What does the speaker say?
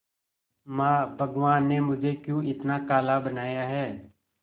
मां भगवान ने मुझे क्यों इतना काला बनाया है